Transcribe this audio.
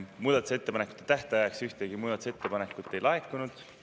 Muudatusettepanekute tähtajaks ühtegi muudatusettepanekut ei laekunud.